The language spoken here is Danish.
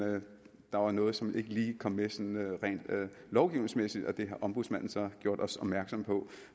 der var noget som ikke lige kom med sådan rent lovgivningsmæssigt og det har ombudsmanden så gjort os opmærksom på